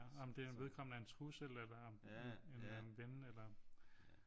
Om den vedkommende er en trussel eller en ven eller